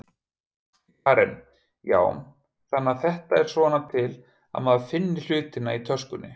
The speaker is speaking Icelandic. Karen: Já, þannig að þetta er svona til að maður finni hlutina í töskunni?